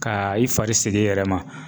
Ka i fari sig'i yɛrɛ ma